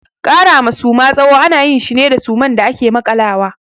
Kara ma Suma tsawo ana yin shi ne da suman da ake makalawa.